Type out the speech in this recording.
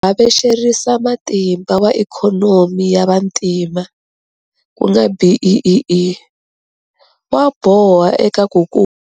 Havexerisamatimba wa Ikhonomi ya Vantima, ku nga BEEE, wa boha eka ku kula.